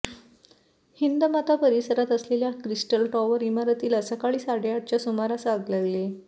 हिंदमाता परिसरात असलेल्या crystal tower इमारतीला सकाळी साडेआठच्या सुमारास आग लागली